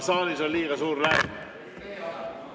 Saalis on liiga suur lärm!